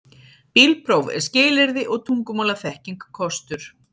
Bílpróf er skilyrði og tungumálaþekking kostur